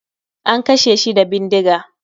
An kashe shi da bindiga